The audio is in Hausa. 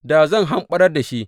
Da zan hamɓarar da shi.